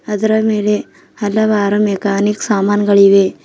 ಅದರ ಮೇಲೆ ಹಲವಾರು ಮೆಕ್ಯಾನಿಕ್ ಸಾಮಾನಗಳಿವೆ.